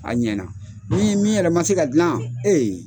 A ɲ min min yɛrɛ ma se ka dila ee